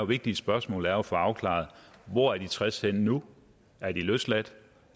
vigtige spørgsmål er jo at få afklaret hvor de tres er henne nu er de løsladt